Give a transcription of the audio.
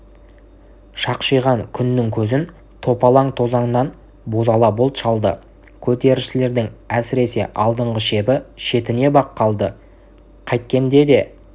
шақшиған күннің көзін топалаң тозаңнан бозала бұлт шалды көтерілісшілердің әсіресе алдынғы шебі шетінеп-ақ қалды қайткенде де